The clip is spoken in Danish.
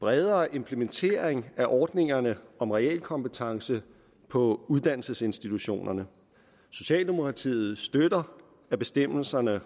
bredere implementering af ordningerne om realkompetencevurdering på uddannelsesinstitutionerne socialdemokratiet støtter at bestemmelserne